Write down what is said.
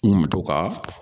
N kun bɛ to ka